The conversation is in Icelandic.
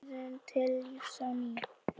Það kom mér til lífs á ný.